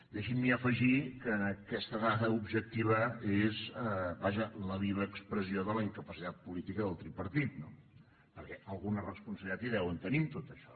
deixin m’hi afegir que aquesta dada objectiva és vaja la viva expressió de la incapacitat política del tripartit no perquè alguna responsabilitat hi deuen tenir en tot això